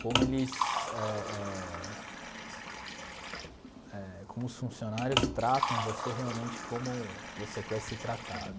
Como eles eh eh eh como os funcionários tratam você realmente como você quer ser tratado.